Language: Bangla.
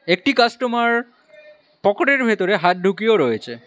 একটি কাস্টমার পকোটের ভেতরে হাত ঢুকিয়েও রয়েছে।